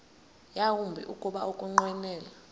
yawumbi kuba ukunqwenela